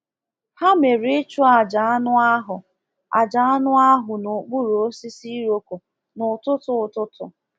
Ha mere ịchụ aja anụ ahụ aja anụ ahụ n’okpuru osisi iroko n’ụtụtụ ụtụtụ.